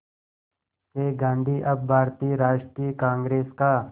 से गांधी अब भारतीय राष्ट्रीय कांग्रेस का